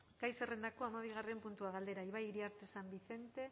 gai zerrendako hamabigarren puntua galdera ibai iriarte san vicente eh